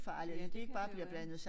Ja det kan jo være